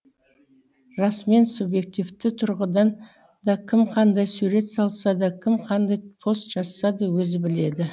расымен субъективті тұрғыдан да кім қандай сурет салса да кім қандай пост жазса да өзі біледі